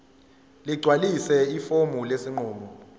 ligcwalise ifomu lesinqumo